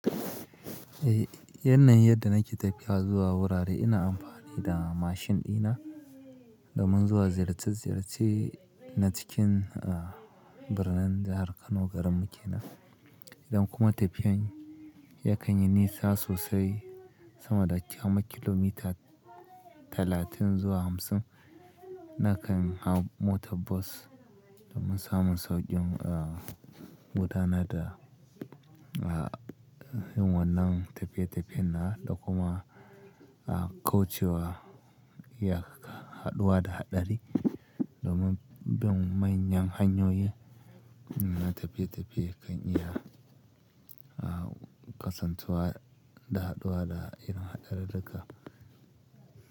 Eh, yanayin yadda nake tafiya zuwa wurare ina amfani da mashin dina domin zuwa ziyarce-ziyarce na cikin, ah, birnin jahar Kano garin mu ke nan. Idan kuma tafiyan yakan yi nisa sosai sama da kamar kilomita talatin zuwa hamsin, na kan hau motar bus domin samun sauƙin, ah, gudana da, ah, yunwanan tafiye-tafiye na da kuma, ah, kaucewa iya haɗuwa da haɗari domin bai yang hanyoyi na tafiye-tafiye kan iya, ah, kasancewa da haɗuwa da irin haɗari da ka.